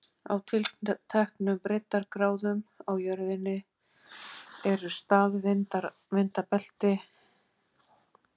Á tilteknum breiddargráðum á jörðinni eru staðvindabelti, en á öðrum gætir hins vegar mikið lægðagangs.